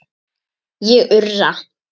Ég urra.